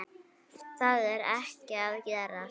Það er ekki að gerast.